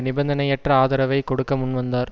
நிபந்தனையற்ற ஆதரவைக் கொடுக்க முன்வந்தார்